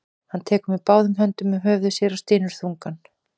Hann tekur með báðum höndum um höfuð sér og stynur þungan.